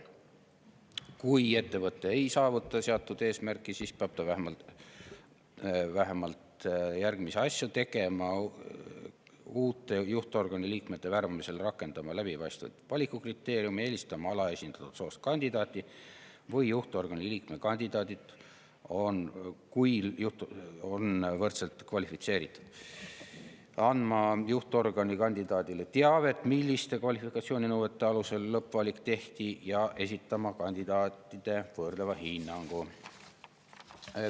Kui ettevõte ei saavuta seatud eesmärki, siis peab ta vähemalt järgmisi asju tegema: uute juhtorgani liikmete värbamisel rakendama läbipaistvaid valikukriteeriume; kui juhtorgani liikme kandidaadid on võrdselt kvalifitseeritud, eelistama alaesindatud soost kandidaati; andma juhtorgani kandidaadile teavet, milliste kvalifikatsiooninõuete alusel lõppvalik tehti; ja esitama kandidaate võrdleva hinnangu.